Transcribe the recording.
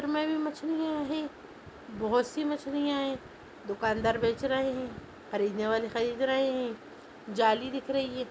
इसमे भी मछलियाँ हैं बहुत सी मछलियाँ हैं दुकानदार बेच रहे हैं खरीदने वाले खरीद रहे हैं जाली दिख रही है।